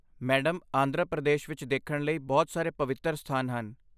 Madam, Andhra Pradesh ਵਿੱਚ ਦੇਖਣ ਲਈ ਬਹੁਤ ਸਾਰੇ ਪਵਿੱਤਰ ਸਥਾਨ ਹਨ।